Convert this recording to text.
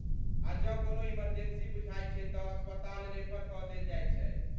आ जँ कोनो इमर्जेंसी बुझाइत छैक तँ अस्पताल रेफर कऽ देल जाइत छै।